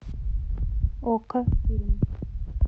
окко фильм